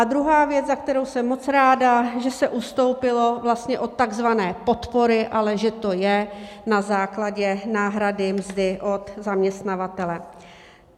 A druhá věc, za kterou jsem moc ráda, že se ustoupilo od takzvané podpory, ale že to je na základě náhrady mzdy od zaměstnavatele.